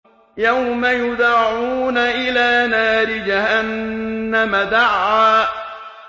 يَوْمَ يُدَعُّونَ إِلَىٰ نَارِ جَهَنَّمَ دَعًّا